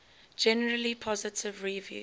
generally positive reviews